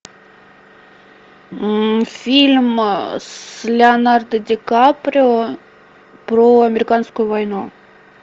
фильм с леонардо ди каприо про американскую войну